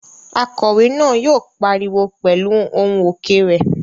Akòwé náà yóò pariwo pẹ̀lú ohùn òkè rẹ̀